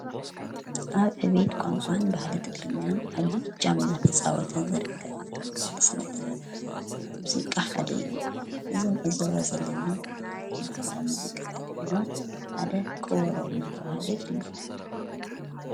ኣብ ዕብየት ቛንቋን ባህልን ትግርኛን ዓብይ እጃም እንዳተፃወተ ዝርከብ ክበብ ስነ ጥበብ ሙዚቃ ሓደ እዩ። እዚ እንዕዘቦ ዘለና ካብቶም ባህላዊ ሙዚቃታት ድማ ሓደ ከበሮ እናተበሃለ ይፍለጥ።